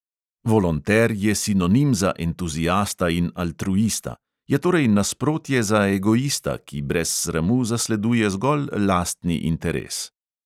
Volonter je sinonim za entuziasta in altruista; je torej nasprotje za egoista, ki brez sramu zasleduje zgolj lastni interes.